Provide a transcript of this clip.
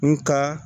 N ka